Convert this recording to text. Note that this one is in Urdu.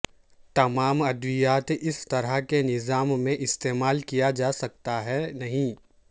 تمام ادویات اس طرح کے نظام میں استعمال کیا جا سکتا ہے نہیں